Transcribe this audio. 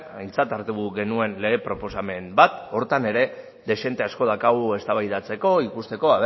aintzat hartu genuen lege proposamen bat horretan ere dezente asko daukagu eztabaidatzeko ikusteko